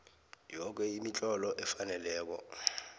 yoke imitlolo efaneleko